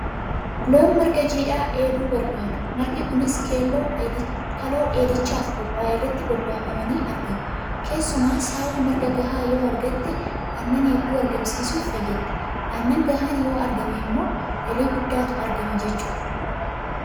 Loon marga jiidhaa dheeduu barbaadu. Margi kunis kaloo dheedichaaf qophaa'e irratti bobbaafamanii argama. Keessumaa saawwi marga gahaa yoo argatte aannan hedduu argamsiisuuf fayyaddi. Aannan gahaan yoo argame immoo galii guddaatu irraa argama jechuudha.